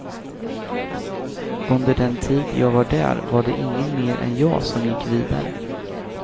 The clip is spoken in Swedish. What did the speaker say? Under den tid jag var där var det ingen mer än jag som gick vidare.